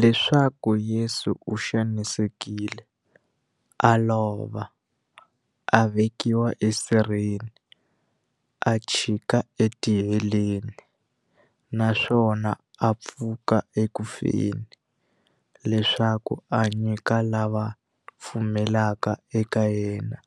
Leswaku Yesu u xanisekile, a lova, a vekiwa esirheni, a chikela etiheleni, naswona a pfuka eku feni, leswaku a nyika lava va pfumelaka eka yena,